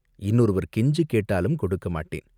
இன்னொருவர் கெஞ்சிக் கேட்டாலும் கொடுக்கமாட்டேன்.